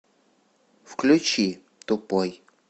включи тупой